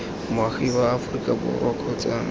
moagi wa aforika borwa kgotsa